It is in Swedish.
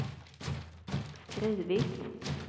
skrivit